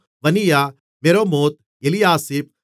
Vaniah Meremoth Eliashib